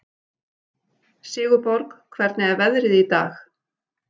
Sigurborg, hvernig er veðrið í dag?